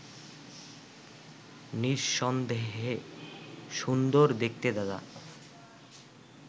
নিঃসন্দেহে সুন্দর দেখতে দাদা